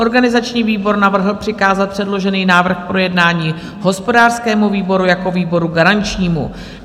Organizační výbor navrhl přikázat předložený návrh k projednání hospodářskému výboru jako výboru garančnímu.